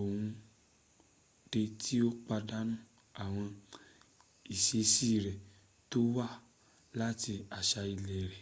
o de ti padanu awon isesi re to wa lati asa ile re